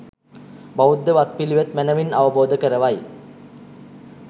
බෞද්ධ වත් පිළිවෙත් මැනවින් අවබෝධ කරවයි.